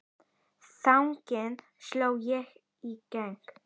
Þannig sló ég í gegn.